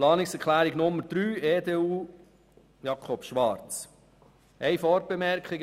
Zu Planungserklärung 3, EDU/Schwarz: Eine Vorbemerkung.